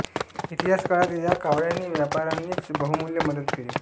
इतिहास काळात या कावळ्यांनी व्यापाऱ्यांनची बहुमूल्य मदत केली